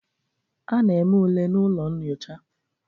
A na-eme ule na ụlọ nyocha.